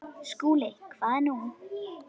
SKÚLI: Hvað nú?